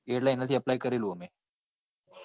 એટલે એના થી apply